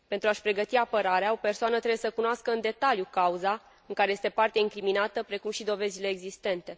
Pentru a și pregăti apărarea, o persoană trebuie să cunoască în detaliu cauza în care este parte incriminată, precum și dovezile existente.